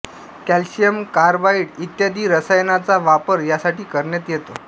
calcium carbide इत्यादी रसायनांचा वापर यासाठी करण्यात येतो